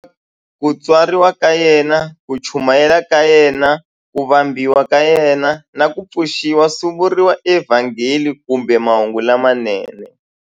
Ku tswariwa ka yena, ku chumayela ka yena, ku vambiwa ka yena, na ku pfuxiwa swi vuriwa eVhangeli kumbe"Mahungu lamanene".